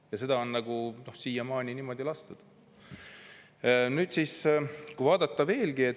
Ja seda on siiamaani lastud niimoodi olla.